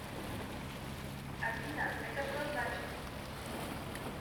афина это что значит